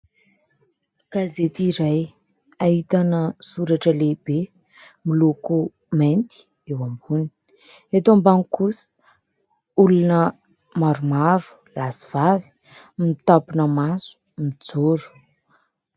Gazety iray, ahitana soratra lehibe miloko mainty eo ambony; eto ambany kosa, olona maromaro lahy sy vavy mitampina maso mijoro.